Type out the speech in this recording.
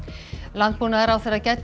landbúnaðarráðherra gæddi